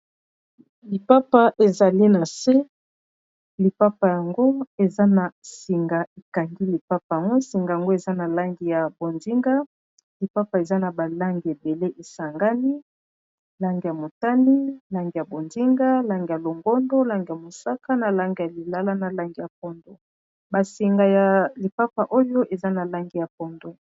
lipapa ezali na se lipapa yango eza na singa ekangi lipapa yango singa yango eza na lange ya bozinga lipapa eza na balange ebele esangani lange ya motani lange ya bondinga lange ya longondo lange ya mosaka na lange ya lilala na lange ya pondo basinga ya lipapa oyo eza na lange ya pondo